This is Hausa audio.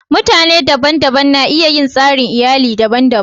Mutane daban-daban na iya yin tsarin iyalli daban-daban.